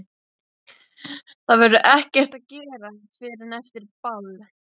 Það verður ekkert að gera fyrr en eftir ball.